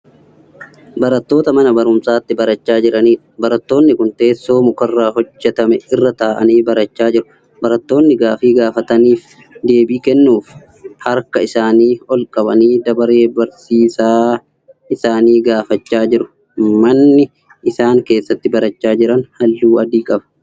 Barattoota mana barumsaatti barachaa jiraniidha. barattoonni Kuni teessoo mukarraa hojjatame irra taa'anii barachaa jiru. barattoonni gaaffii gaafatamaniif deebii kennuuf f harka isaanii olqabanii dabaree barsiisaa isaanii gaafachaa jiru. manni isaan keessatti barachaa Jiran halluu adii qaba.